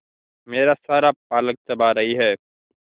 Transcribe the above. मेरा सारा पालक चबा रही है